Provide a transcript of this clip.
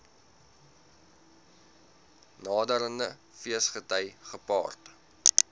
naderende feesgety gepaard